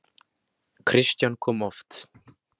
Kristján kom oft.